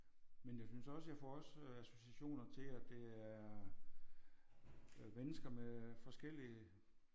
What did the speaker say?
Men jeg synes også jeg får også associationer til at det er øh mennesker med forskellige